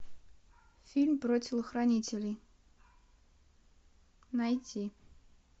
фильм про телохранителей найти